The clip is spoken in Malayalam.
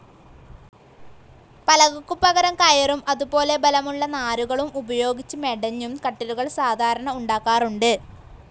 പലകക്കു പകരം കയറും, അതുപോലെ ബലമുള്ള നാരുകളും ഉപയോഗിച്ച് മെടഞ്ഞും കട്ടിലുകൾ സാധാരണ ഉണ്ടാക്കാറുണ്ട്.